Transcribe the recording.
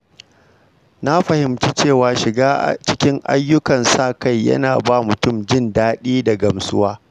Na fahimci cewa shiga cikin ayyukan sa-kai yana ba mutum jin daɗi da gamsuwa.